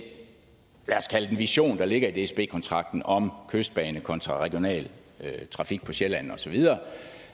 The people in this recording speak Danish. lad os kalde den vision der ligger i dsb kontrakten om kystbanen kontra regionaltrafik på sjælland og så videre